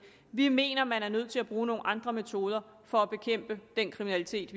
vi mener man er nødt til at bruge nogle andre metoder for at bekæmpe den kriminalitet